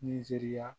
Nizeriya